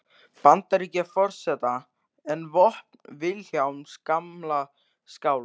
Bandaríkjaforseta en vopn Vilhjálms gamla skálds.